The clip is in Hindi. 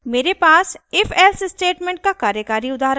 मेरे पास ifelse स्टेटमेंट का कार्यकारी उदाहरण है